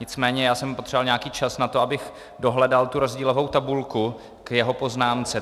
Nicméně já jsem potřebovat nějaký čas na to, abych dohledal tu rozdílovou tabulku k jeho poznámce.